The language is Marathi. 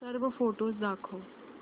सर्व फोटोझ दाखव